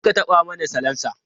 Kar ka taɓa mani salansa!